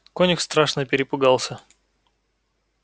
конюх страшно перепугался